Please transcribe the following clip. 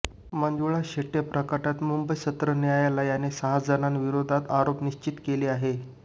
मंजुळा शेट्ये प्रकरणात मुंबई सत्र न्यायालयानं सहा जणांविरोधात आरोप निश्चित केले आहेत